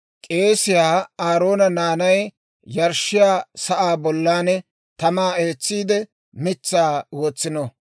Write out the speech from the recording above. K'eesiyaa Aaroona naanay yarshshiyaa sa'aa bollan tamaa eetsiide, mitsaa wotsino.